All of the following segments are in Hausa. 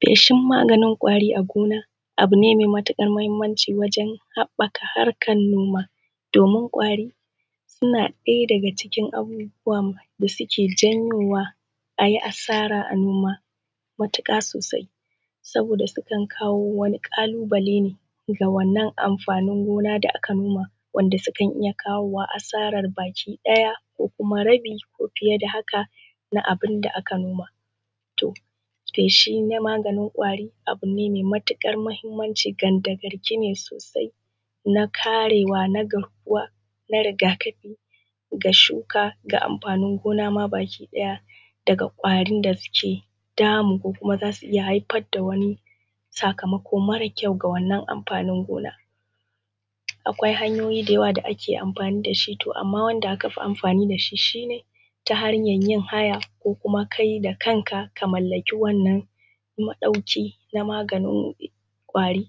Feshin maganin ƙwari a gona abu ne mai mahimmanci wajen haɓaka harkar noma, domin kwari suna ɗaya daga cikin abubuwan da suke janyowa a yi asara a gona matuƙa sosai. Saboda sukan kawo wani ƙalubale ne a wannan amfanin gina da aka noma dukan iya kawowa asarar baki daya kuma rabi ko fiye da hakan na abun da aka noma. To feshi na maganin ƙwari abu ne mai matuƙar mahimmanci kandagarki ne sosai na karewa na garkuwa na riga-kafin ga shuka da amfanin gona ma baki ɗaya daga ƙwarin da suke damu za su iya haifar da wani sakamakon mara ƙyau ga wannan amfanin gona. Akwai hanyoyi da yawa da ake amfani da shi, to amma wanda aka fi amfani da shi shi ne ta hanyar yin haya ko kuma kai da kanka ka mallaki wannan maɗauki maganin ƙwarin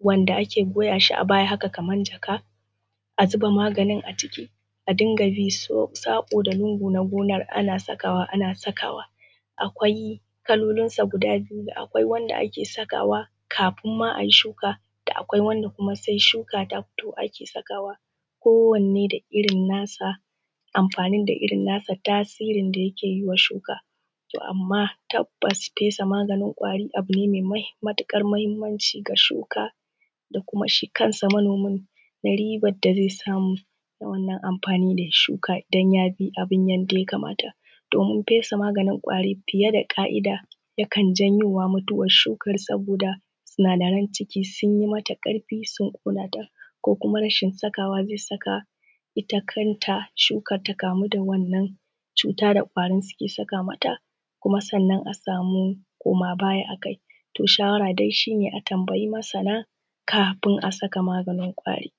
wanda ake goya shi a baya haka kamar jaka a zuba maganin aciki, a rika bi saƙo da lungo na gonar ana sakawa ana sakawa Akwai kalolinsu guda biyu, da akwai wanda ake sakawa kafin ma a yi shuka da kuma sai shuka ta fito ake sakawa kowanne da irin amfaninsa da iein nasa tasirin da yake yi wa shuka. To amma tabbas fesa maganin ƙwari mai matuƙar mahimmanci ga shuka da shi kansa manomi na ribar da zai samu na wannan amfani da ya shuka idan ya bi wannan abun yadda ya kamata. Domin fesa maganin ƙwari fiye da ka'ida yakan janyo mutuwar shukar da sinadaran ciki sun yi mata ƙarfi ko kuma rashin sakawa bisa ga ita kanta shukar ta kamu da wannan cuta da kwarin suke saka mata sanna a sama koma baya a kai. To shawara dai a tambayi masana kafin a saka maganin ƙwari